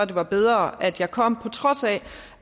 det var bedre at jeg kom på trods af